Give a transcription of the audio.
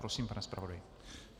Prosím, pane zpravodaji.